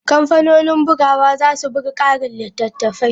Kamfanonin bugawa za su buga ƙarin littattafai.